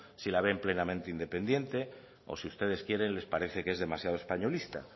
si la ve plenamente independiente o si ustedes quieren les parece que es demasiado españolista